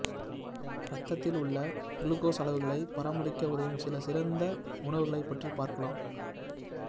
இரத்தத்தில் உள்ள க்ளுகோஸ் அளவுகளை பராமரிக்க உதவும் சில சிறந்த உணவுகளை பற்றி பார்க்கலாம்